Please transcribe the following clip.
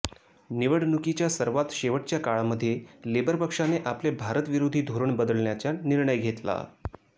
निवडणुकीच्या सर्वात शेवटच्या काळामध्ये लेबर पक्षाने आपले भारतविरोधी धोरण बदलण्याचा निर्णय घेतला